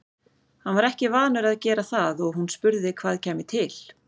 Hann var ekki vanur að gera það og hún spurði hvað kæmi til.